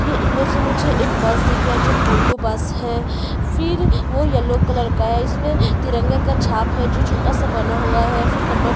ये इमेज में मुझे एक बस दिख रहा है जो भू भू बस है फिर वो येलो कलर का है इसमें तिरंगा का छाप है जो छोटा सा बना हुआ है फिर नंबर प्लेट --